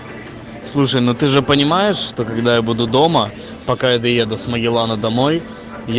слушай ну ты же понимаешь что когда я буду дома пока я доеду с магеллана домой